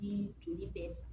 Ni joli bɛɛ